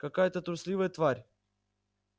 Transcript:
какая-то трусливая тварь